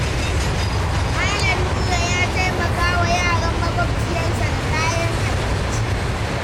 Malam Nura ya taimaka wa yaran maƙwabciyarsa da kayan abinci.